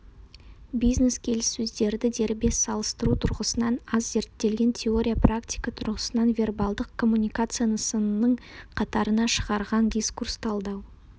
бизнес келіссөздерді дербес салыстыру тұрғысынан аз зерттелген теория-практика тұрғысынан вербалдық коммуникация нысанының қатарына шығарған дискурс-талдау